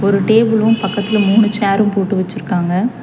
ஒரு டேபிளும் பக்கத்துல மூணு சேரும் போட்டு வெச்சுருக்காங்க.